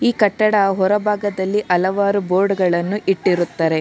ಈ ಕಟ್ಟಡ ಹೊರ ಭಾಗದಲ್ಲಿ ಹಲವಾರು ಬೋರ್ಡ್ ಗಳನ್ನು ಇಟ್ಟಿರುತ್ತಾರೆ.